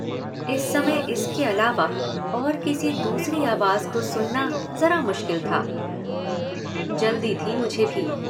इस समय इसके अलावा और किसी दूसरी आवाज़ को सुनना ज़रा मुश्किल था। जल्दी थी मुझे भी।